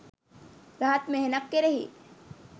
රහත් මෙහෙණක් කෙරෙහි